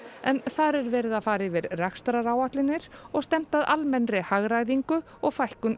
þar er verið að fara yfir rekstraráætlanir og stefnt að almennri hagræðingu og fækkun